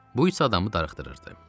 Bu isə adamı darıxdırırdı.